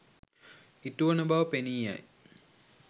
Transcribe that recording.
ඉටුවන බව පෙනී යයි.